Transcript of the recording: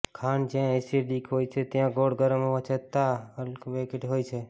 ખાંડ જ્યાં એસિડિક હોય છે ત્યાં ગોળ ગરમ હોવા છતાં અલ્કવેટિક હોય છે